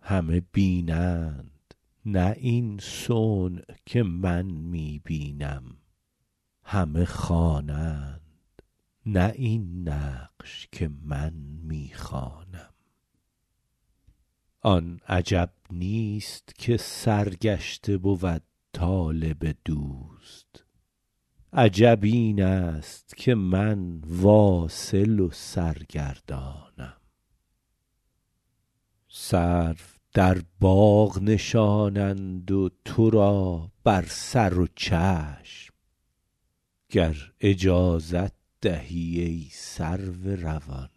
همه بینند نه این صنع که من می بینم همه خوانند نه این نقش که من می خوانم آن عجب نیست که سرگشته بود طالب دوست عجب این است که من واصل و سرگردانم سرو در باغ نشانند و تو را بر سر و چشم گر اجازت دهی ای سرو روان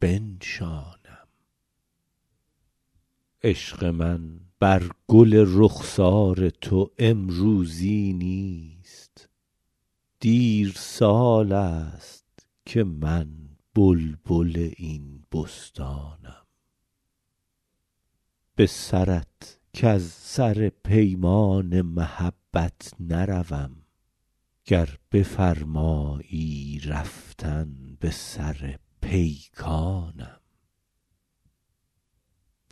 بنشانم عشق من بر گل رخسار تو امروزی نیست دیر سال است که من بلبل این بستانم به سرت کز سر پیمان محبت نروم گر بفرمایی رفتن به سر پیکانم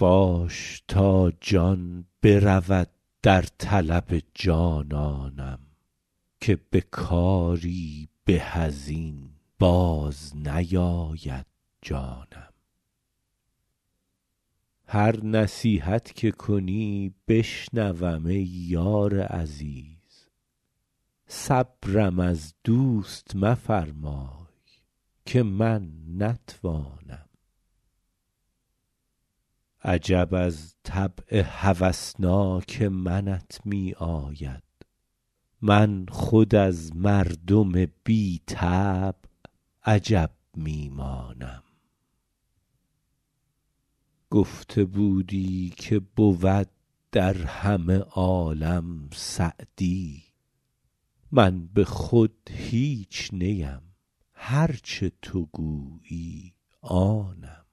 باش تا جان برود در طلب جانانم که به کاری به از این باز نیاید جانم هر نصیحت که کنی بشنوم ای یار عزیز صبرم از دوست مفرمای که من نتوانم عجب از طبع هوسناک منت می آید من خود از مردم بی طبع عجب می مانم گفته بودی که بود در همه عالم سعدی من به خود هیچ نیم هر چه تو گویی آنم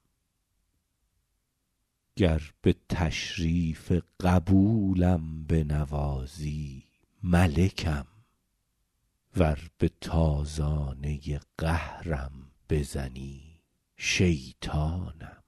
گر به تشریف قبولم بنوازی ملکم ور به تازانه قهرم بزنی شیطانم